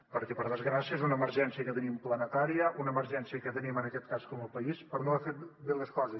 perquè per desgràcia és una emergència que tenim planetària una emergència que tenim en aquest cas com a país per no haver fet bé les coses